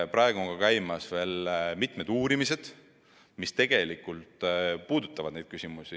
Praegu on käimas veel mitmed uurimised, mis neid küsimusi puudutavad.